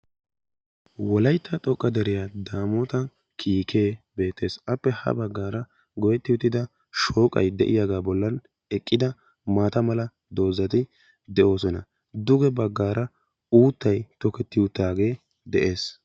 Wolayttan xoqqa deriyaa daamota kiikee beettees. appe ha baggaara goyetti uttida shooqay de'iyaaga bollan eqqida maata mala doozzati de'oosona. duge baggaara uuttay toketti uttagee de'ees.